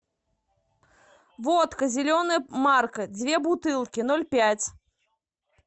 водка зеленая марка две бутылки ноль пять